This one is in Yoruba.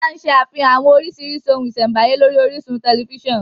Wọ́n má ń ṣe àfihàn àwọn orísìírísìí ohun ìṣẹ̀m̀báyé lórí orísun tẹ̀lifísàn